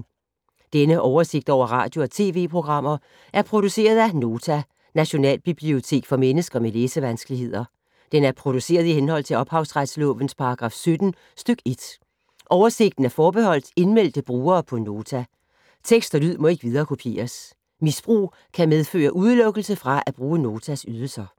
Denne oversigt over radio og TV-programmer er produceret af Nota, Nationalbibliotek for mennesker med læsevanskeligheder. Den er produceret i henhold til ophavsretslovens paragraf 17 stk. 1. Oversigten er forbeholdt indmeldte brugere på Nota. Tekst og lyd må ikke viderekopieres. Misbrug kan medføre udelukkelse fra at bruge Notas ydelser.